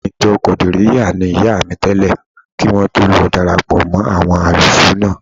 Ọmọ ìjọ Kọ̀dìríyà ni ìyá mi tẹ́lẹ̀ kí wọ́n tó lọ darapọ̀ mọ́ àwọn Álùsúúnà